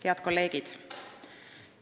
Head kolleegid!